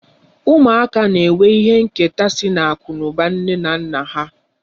Ụmụaka na-enwe ihe nketa sị n'akụ na ụba nne na nna ha.